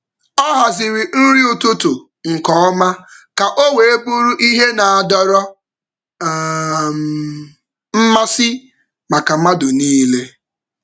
Ọ haziri nri ụtụtụ nke ọma ka ọ wee bụrụ ihe na-adọrọ um mmasị maka mmadụ niile.